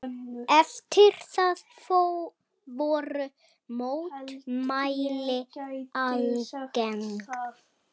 Eftir það voru mótmæli algeng.